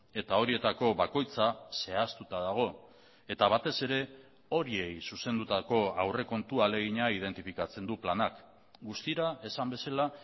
eta horietako bakoitza zehaztuta dago eta batez ere horiei zuzendutako aurrekontu ahalegina identifikatzen du planak guztira esan bezala